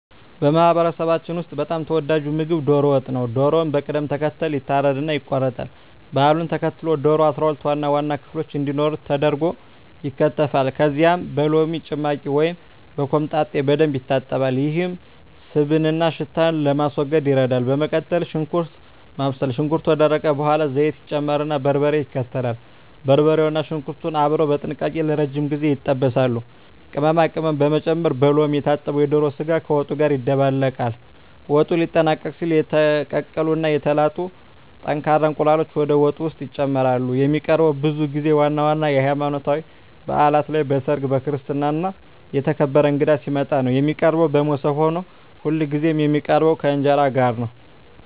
በማህበረሰባችን ውስጥ በጣም ተወዳጁ ምግብ ዶሮ ወጥ ነው። ዶሮው በቅደም ተከተል ይታረድና ይቆረጣል። ባህሉን ተከትሎ ዶሮው 12 ዋና ዋና ክፍሎች እንዲኖሩት ተደርጎ ይከተፋል። ከዚያም በሎሚ ጭማቂ ወይም በኮምጣጤ በደንብ ይታጠባል፤ ይህም ስብንና ሽታን ለማስወገድ ይረዳል። በመቀጠል ሽንኩርት ማብሰል፣ ሽንኩርቱ ከደረቀ በኋላ ዘይት ይጨመርና በርበሬ ይከተላል። በርበሬውና ሽንኩርቱ አብረው በጥንቃቄ ለረጅም ጊዜ ይጠበሳሉ። ቅመማ ቅመም መጨመር፣ በሎሚ የታጠበው የዶሮ ስጋ ከወጡ ጋር ይደባለቃል። ወጡ ሊጠናቀቅ ሲል የተቀቀሉ እና የተላጡ ጠንካራ እንቁላሎች ወደ ወጡ ውስጥ ይጨመራሉ። የሚቀርበውም ብዙ ጊዜ ዋና ዋና የሀይማኖታዊ ባእላት ላይ፣ በሰርግ፣ በክርስትና እና የተከበረ እንግዳ ሲመጣ ነው። የሚቀርበውም በሞሰብ ሆኖ ሁልጊዜ የሚቀርበው ከእንጀራ ጋር ነው።